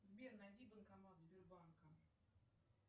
сбер найди банкомат сбербанка